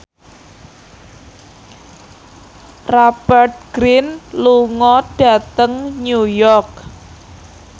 Rupert Grin lunga dhateng New York